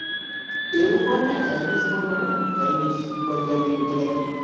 એવું પણ ને ચાઈનીસ પણ મળે ને ચાઈનીસ, પંજાબી, ગુજરાતી